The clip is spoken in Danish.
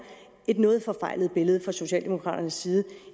et noget forfejlet billede fra socialdemokraternes side